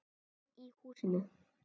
Einn í húsinu.